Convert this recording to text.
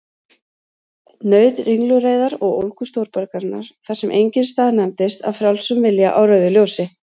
Naut ringulreiðar og ólgu stórborgarinnar, þar sem enginn staðnæmist af frjálsum vilja á rauðu ljósi.